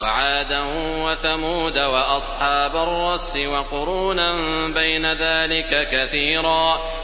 وَعَادًا وَثَمُودَ وَأَصْحَابَ الرَّسِّ وَقُرُونًا بَيْنَ ذَٰلِكَ كَثِيرًا